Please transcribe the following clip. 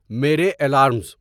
میرے الارمز